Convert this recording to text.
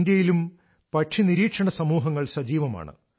ഇന്ത്യയിലും പക്ഷി നിരീക്ഷണ സമൂഹങ്ങൾ സജീവമാണ്